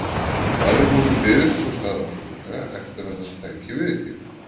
Hvað ef honum byðist sú staða fljótlega eftir að hann tæki við hér?